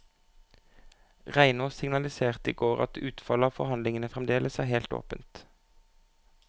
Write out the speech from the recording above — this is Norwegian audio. Reinås signaliserte i går at utfallet av forhandlingene fremdeles er helt åpent.